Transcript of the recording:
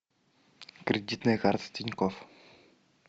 кредитная карта тинькофф